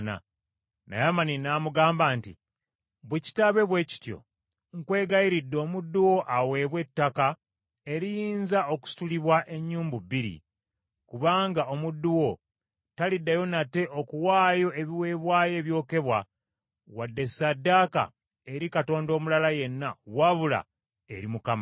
Naamani n’amugamba nti, “Bwe kitaabe bwe kityo, nkwegayiridde omuddu wo aweebwe ettaka eriyinza okusitulibwa ennyumbu bbiri, kubanga omuddu wo taliddayo nate okuwaayo ebiweebwayo ebyokebwa wadde ssaddaaka eri katonda omulala yenna wabula eri Mukama .